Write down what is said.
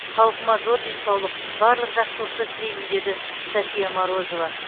халқыма зор денсаулық барлық жақсылықты тілеймін деді софия морозова